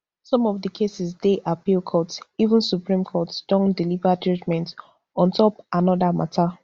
some of the cases dey appeal court even supreme court don deliver judgement on top anoda mata